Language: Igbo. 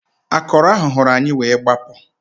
Akọrọ hụrụ anyị wee gbapụ